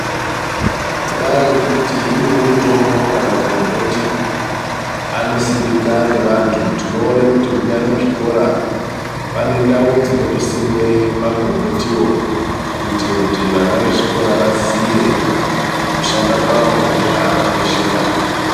Kudai ngekuti imweni mitombo kana pagomboti anosimika ngevantu tino kuti munyari muzvikora pane ndau ndinotosimwe magomboti kutiwo kuitira kuti vana vezvikoro vazive ndiye kushanda kwavo nezvaakakoshera.